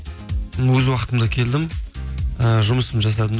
өз уақытымда келдім ііі жұмысымды жасадым да